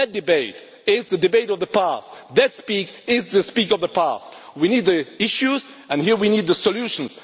less. That debate is the debate of the past. That discourse belongs in the past. We need the issues and here we need the solutions.